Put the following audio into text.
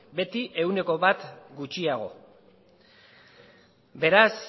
beti ehuneko bat gutxiago beraz